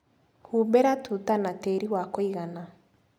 Humbĩra tuta na tĩri wa kũigana.